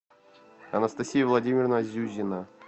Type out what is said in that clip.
анастасия владимировна зюзина